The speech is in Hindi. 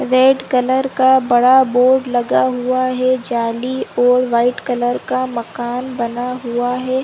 रेड कलर का बड़ा बोर्ड लगा हुआ है जाली और व्हाइट कलर का मकान बना हुआ है।